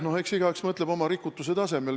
No eks igaüks mõtleb oma rikutuse tasemel.